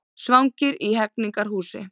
Svangir í Hegningarhúsi